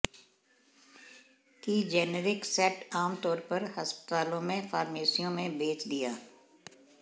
की generic set आमतौर पर अस्पतालों में फार्मेसियों में बेच दिया